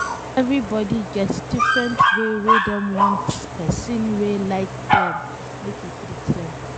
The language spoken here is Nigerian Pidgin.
Everybody get different way wey dem want pesin wey like dem make e treat dem